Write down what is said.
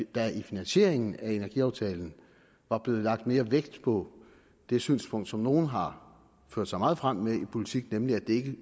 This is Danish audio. der i finansieringen af energiaftalen var blevet lagt mere vægt på det synspunkt som nogle har ført sig meget frem med i politik nemlig at det